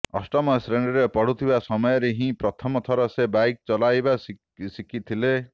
ଅଷ୍ଟମ ଶ୍ରେଣୀରେ ପଢୁଥିବା ସମୟରେ ହିଁ ପ୍ରଥମ ଥର ସେ ବାଇକ୍ ଚଲାଇବା ଶିଖିଥିଲେ